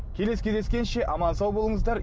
келесі кездескенше аман сау болыңыздар